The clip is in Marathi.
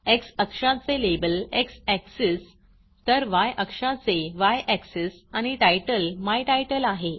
एक्स अक्षाचे लेबल एक्स एक्सिस तर य अक्षाचे य एक्सिस आणि टायटल माय तितले आहे